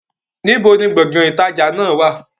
Níbo ni Gbọ̀ngán ìtajà náà wá?